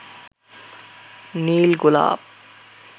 নীল গোলাপ